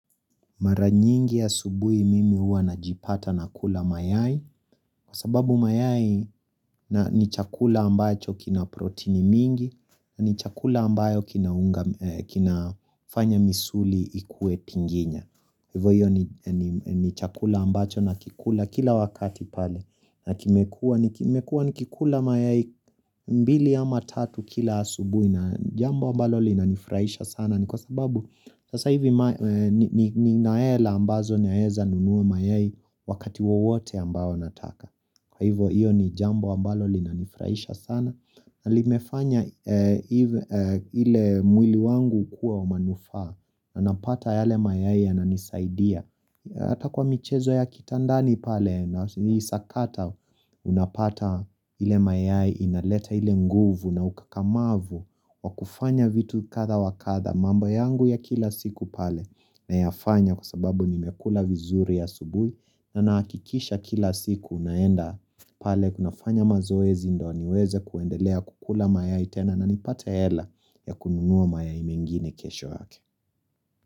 Mara nyingi asubuhi mimi huwa najipata nakula mayai, kwa sababu mayai ni chakula ambacho kina proteini mingi, ni chakula ambayo kinafanya misuli ikuwe tinginya. Hivyo hiyo ni chakula ambacho nakikula kila wakati pale. Na nimekuwa nikikula mayai mbili ama tatu kila asubuhi na jambo ambalo linanifurahisha sana ni kwa sababu, sasa hivi nina hela ambazo naweza nunua mayai wakati wowote ambao nataka. Kwa hivyo hiyo ni jambo ambalo linanifurahisha sana na limefanya ile mwili wangu kuwa wa manufaa na napata yale mayai yananisaidia Hata kwa michezo ya kitandani pale naisakata unapata ile mayai inaleta ile nguvu na ukakamavu wa kufanya vitu kadha wa kadha. Mambo yangu ya kila siku pale nayafanya kwa sababu nimekula vizuri asubuhi na nahakikisha kila siku naenda pale kunafanywa mazoezi ndiyo niweze kuendelea kukula mayai tena na nipate hela ya kununua mayai mengine kesho yake.